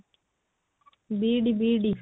BED BED